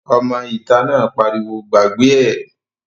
Ọmọ ìta náà pariwo "gbàgbé ẹ̀!"